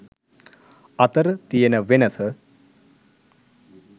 අතර තියන වෙනස.